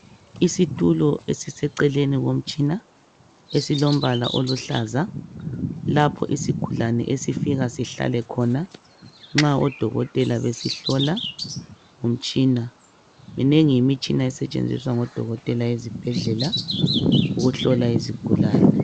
Isitulo esiseceleni komtshina esilombala oluhlaza lapho isigulane esifika sihlale khona nxa odokotela besihlola ngomtshina minengi imitshina esetshenziswa ngodokotela ezibhedlela ukuhlola izigulane.